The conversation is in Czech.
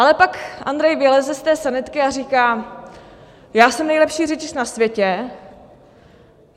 Ale pak Andrej vyleze z té sanitky a říká: Já jsem nejlepší řidič na světě.